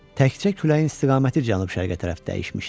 Təkcə küləyin istiqaməti cənub-şərqə tərəf dəyişmişdi.